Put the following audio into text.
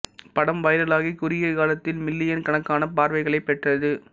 படம் வைரலாகி குறுகிய காலத்தில் மில்லியன் கணக்கான பார்வைகளைப் பெற்றது